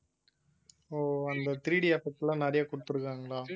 அந்த threeDeffect எல்லாம் நிறைய கொடுத்திருக்காங்களா